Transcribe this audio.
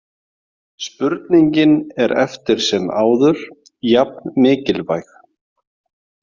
Spurningin er eftir sem áður jafn mikilvæg.